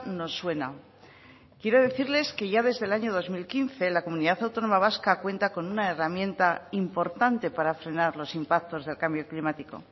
nos suena quiero decirles que ya desde el año dos mil quince la comunidad autónoma vasca cuenta con una herramienta importante para frenar los impactos del cambio climático